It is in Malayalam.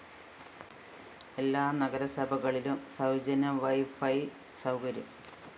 എല്ലാ നഗരസഭകളിലും സൗജന്യവൈഫൈ സൗകര്യം